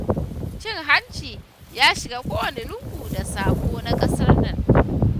Cin hanci ya shiga kowane lungu da saƙo na ƙasar nan.